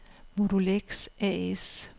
Modulex A/S